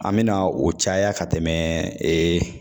An me na o caya ka tɛmɛ